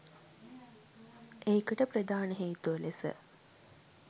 ඒකට ප්‍රධාන හේතුව ලෙස